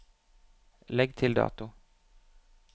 Legg til dato